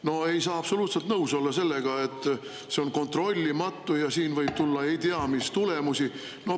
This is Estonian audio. No ei saa absoluutselt nõus olla sellega, et see on kontrollimatu ja siin võib tulla ei tea, mis tulemusi.